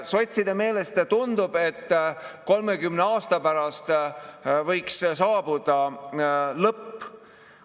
Sotside meelest tundub, et 30 aasta pärast võiks saabuda lõpp.